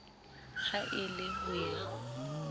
ha e le ho ya